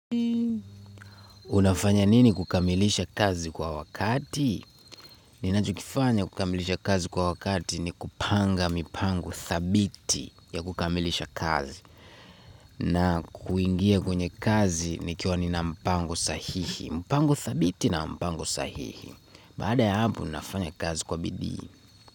Unafanya nini kukamilisha kazi kwa wakati? Ninachokifanya kukamilisha kazi kwa wakati ni kupanga mipango thabiti ya kukamilisha kazi. Na kuingia kwenye kazi nikiwa nina mpango sahihi. Mpangu thabiti na mpangu sahihi. Baada ya hapo, ninafanya kazi kwa bidii.